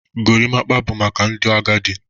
Gorimpa bụ maka ndị agadi.